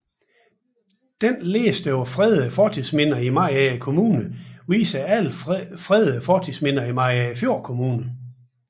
Denne liste over fredede fortidsminder i Mariagerfjord Kommune viser alle fredede fortidsminder i Mariagerfjord Kommune